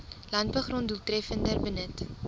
landbougrond doeltreffender benut